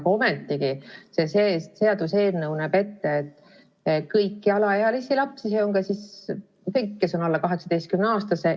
Aga ometigi see seaduseelnõu näeb ette kõiki alaealisi lapsi, see on siis kõiki, kes on alla 18-aastased.